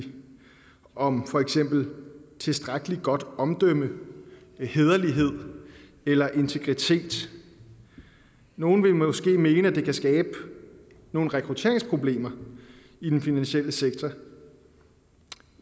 om for eksempel tilstrækkelig godt omdømme hæderlighed eller integritet nogle vil måske mene at det kan skabe nogle rekrutteringsproblemer i den finansielle sektor